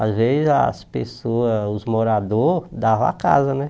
Às vezes as pessoas, os moradores davam a casa, né?